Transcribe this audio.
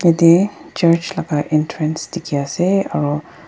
yate church laka entrance dikhi ase aru.